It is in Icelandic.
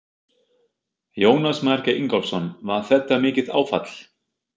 Jónas Margeir Ingólfsson: Var þetta mikið áfall?